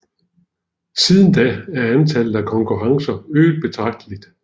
Siden da er antallet af konkurrencer øget betragteligt